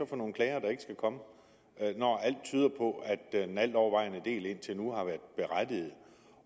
for nogle klager der ikke skal komme når alt tyder på at den altovervejende del indtil nu har været berettiget